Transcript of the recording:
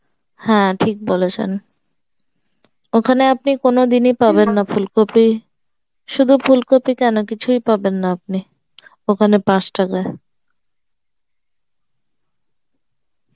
হ্যাঁ ঠিক বলেছেন ওখানে আপনি কোনদিনই পাবেন না ফুলকপি শুধু ফুলকপি কেন কিছুই পাবেন না আপনি ওখানে পাঁচ টাকায়